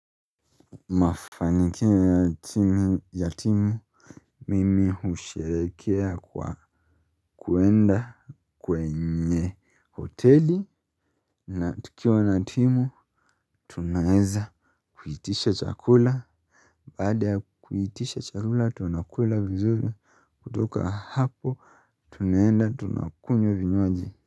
Mafanikio yatimu mimi husherehekea kwa kwenda kwenye hoteli na tukiwa na timu tunaweza kuitisha chakula baada ya kuitisha chakula tunakula vizuri kutoka hapo tunaenda tunakunywa vinywaji.